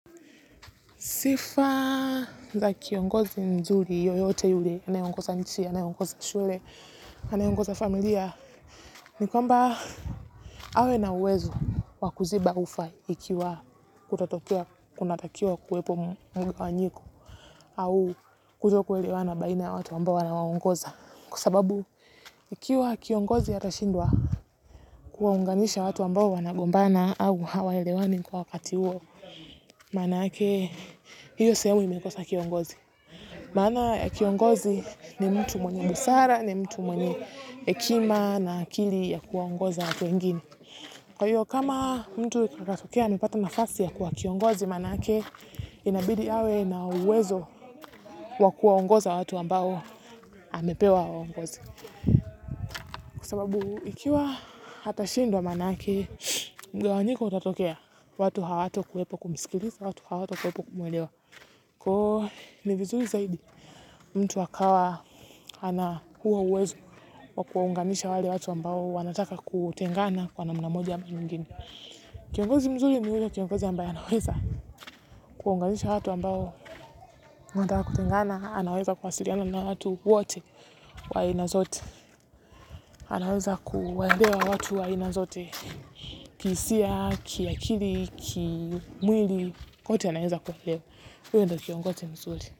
Sifa za kiongozi nzuri, yoyote yule, anayeongoza nchi, anayeongoza shule, anayeongoza familia, ni kwamba awe na uwezo wa kuziba ufa ikiwa kutatokea, kunatakiwa kuwepo mgawanyiko au kutokuelewana baina ya watu ambao anawawangoza. Kwa sababu, ikiwa kiongozi atashindwa, kuwaunganisha watu ambao wanagombana au hawaelewani kwa wakati huo, maana yake hio sehemu imekosa kiongozi. Maana kiongozi ni mtu mwenye busara ni mtu mwenye hekima na akili ya kuwaongoza watu wengine. Kwa hiyo kama mtu atatokea nipate nafasi ya kuwa kiongozi. Manake inabidi awe na uwezo wa kuwaongoza watu ambao amepewa awaongoze. Kwa sababu ikiwa atashindwa manake mgawanyiko utatokea watu hawatakuwepo kumsikiliza watu hawatakuwepo kumuelewa. Kwaivo ni vizuri zaidi. Mtu akawa ana huo uwezo wa kuwaunganisha wale watu ambao wanataka kutengana kwa namna moja ama nyigine. Kiongozi mzuri ni ule kiongozi ambaye anaweza kuwaunganisha watu ambao wanataka kutengana anaweza kuwasiliana na watu wote wa aina zote. Anaweza kuwaelewa watu wa aina zote kihisia, kiakili, kimwili kote anaweza kuelewa. Uyo ndio kiongozi mzuri.